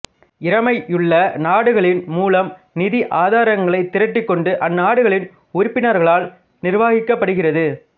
இறைமையுள்ள நாடுகளின் மூலம் நிதி ஆதரங்களைத் திரட்டிக்கொண்டு அந்நாடுகளின் உறுப்பினர்களால் நிர்வாகிக்கப்படுகிறது